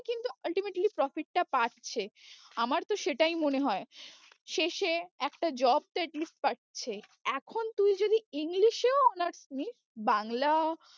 কিন্তু ultimately profit টা পাচ্ছে আমার তো সেটাই মনে হয়ে, শেষে একটা job তো at least পাচ্ছে। এখন তুই যদি english এও honours নিস বাংলা